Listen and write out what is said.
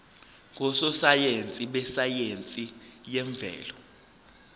ngososayense besayense yemvelo